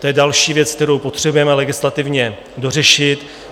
To je další věc, kterou potřebujeme legislativně dořešit.